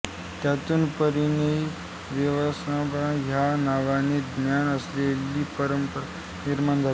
त्यातून पाणिनीय व्याकरणपरंपरा ह्या नावाने ज्ञात असलेली परंपरा निर्माण झाली